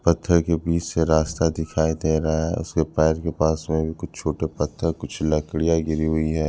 पत्थर के बीच से रास्ता दिखाई दे रहा है उसके पास के पास में भी कुछ छोटे पत्थर कुछ लकड़िया गिरी हुई है।